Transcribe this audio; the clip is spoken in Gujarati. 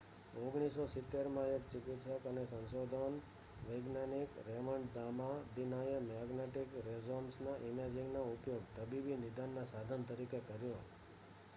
1970માં એક ચિકિત્સક અને સંશોધન વૈજ્ઞાનિક રેમન્ડ દામાદિનાએ મેગ્નેટિક રેઝોનન્સ ઇમેજિંગનો ઉપયોગ તબીબી નિદાનના સાધન તરીકે કર્યો